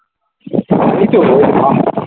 আমিতো ভা